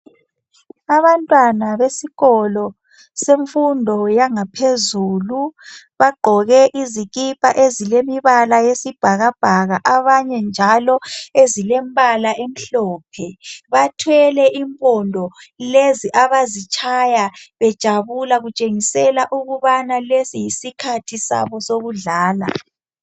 Abantwana besikolo semfundo yangaphezulu bagqoke izikipa ezilemibala yesibhakabhaka, abanye njalo ezilembala emhlophe bathwele impondo lezi abazitshaya bejabula kutshengisela ukubana lesi yisikhathi sabo sokudlala.